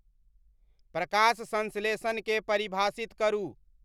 प्रकाश संश्लेषण के परिभाषित करू